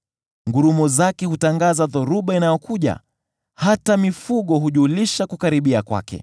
Ngurumo zake hutangaza dhoruba inayokuja; hata mifugo hujulisha kukaribia kwake.